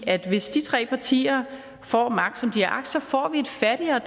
at hvis de tre partier får magt som de har agt så får vi et fattigere